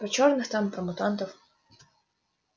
про чёрных там про мутантов